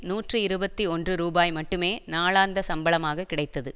நூற்றி இருபத்தி ஒன்று ரூபாய் மட்டுமே நாளாந்த சம்பளமாகக் கிடைத்தது